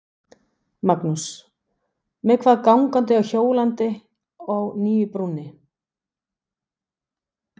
Magnús: Hvað með gangandi og hjólandi á nýju brúnni?